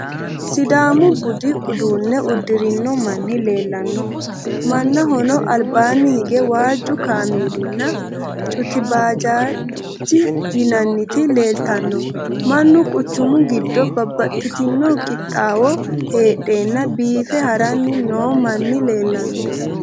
Sidaamu budu uduunne uddirino manni leellanno. Mannahono albaanni hige waajju makeeninna cutebajaj yinanniti leeltanno. Mannu quchumu giddo babbaxxitino qiixxaawo heedheenna biife haranni noo manni leellanno.